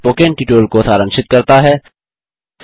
यह spoken tutorial को सारांशित करता है